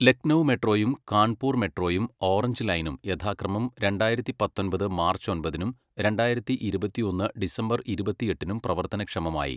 ലക്നൗ മെട്രോയും കാൺപൂർ മെട്രോയും ഓറഞ്ച് ലൈനും യഥാക്രമം രണ്ടായിരത്തി പത്തൊമ്പത് മാർച്ച് ഒമ്പതിനും രണ്ടായിരത്തി ഇരുപത്തിയൊന്ന് ഡിസംബർ ഇരുപത്തിയെട്ടിനും പ്രവർത്തനക്ഷമമായി.